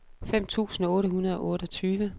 fem tusind otte hundrede og otteogtyve